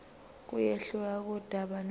kuyehluka kudaba nodaba